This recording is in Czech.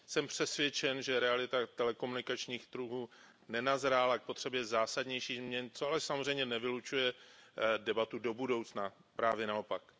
Jsem přesvědčen, že realita telekomunikačních trhů nenazrála k potřebě zásadnější změny, což ale samozřejmě nevylučuje debatu do budoucna, právě naopak.